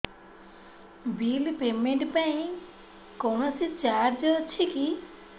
bill payment ପାଇଁ କୌଣସି charge ଅଛି କି